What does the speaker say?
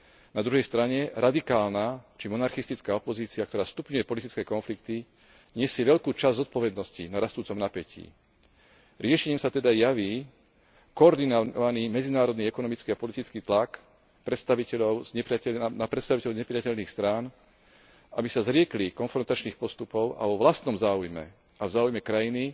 Na druhej strane radikálna či monarchistická opozícia, ktorá stupňuje politické konflikty, nesie veľkú časť zodpovednosti na rastúcom napätí. Riešením sa teda javí koordinovaný medzinárodný ekonomický a politický tlak na predstaviteľov znepriatelených strán, aby sa zriekli konfrontačných postupov a vo vlastnom záujme a v záujme krajiny